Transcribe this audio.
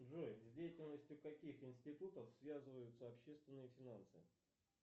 джой с деятельностью каких институтов связываются общественные финансы